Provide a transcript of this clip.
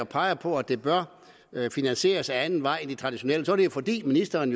peger på at det bør finansieres ad anden vej end den traditionelle er det jo fordi ministeren